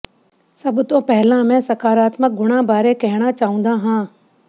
ਸਭ ਤੋਂ ਪਹਿਲਾਂ ਮੈਂ ਸਕਾਰਾਤਮਕ ਗੁਣਾਂ ਬਾਰੇ ਕਹਿਣਾ ਚਾਹੁੰਦਾ ਹਾਂ